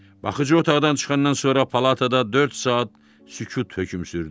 Baxıcı otaqdan çıxandan sonra palatada dörd saat sükut hökm sürdü.